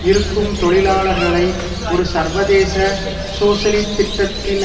இருக்கும் தொழிலாளர்களை ஒரு சர்வதேச சோசலிசத்திட்டத்தின்